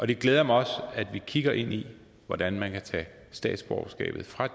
det glæder mig også at vi kigger ind i hvordan man kan tage statsborgerskabet fra